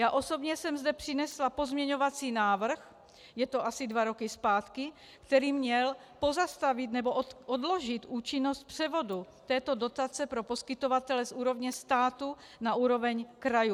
Já osobně jsem zde přinesla pozměňovací návrh, je to asi dva roky zpátky, který měl pozastavit nebo odložit účinnost převodu této dotace pro poskytovatele z úrovně státu na úroveň krajů.